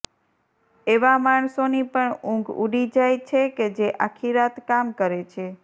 એવા માણસોની પણ ઉંઘ ઉડી જાય છે કે જે આખી રાત કામ કરે છે